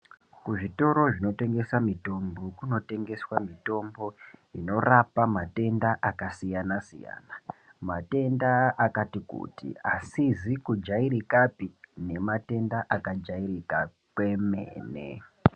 Zvitoro zvinotengesa mitombo zvinotengeswa mitombo inorapa matenda akasiyana siyana matenda akati kuti asizi kujairikapi nematenda akajairika kwemene.